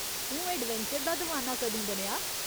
तूं एडवेंचर दा दवाना कदूं बनेआ ?